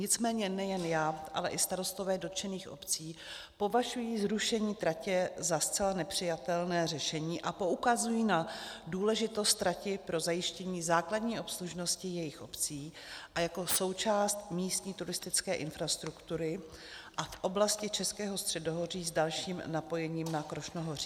Nicméně nejen já, ale i starostové dotčených obcí považují zrušení tratě za zcela nepřijatelné řešení a poukazují na důležitost trati pro zajištění základní obslužnosti jejich obcí a jako součásti místní turistické infrastruktury a v oblasti Českého středohoří s dalším napojením na Krušnohoří.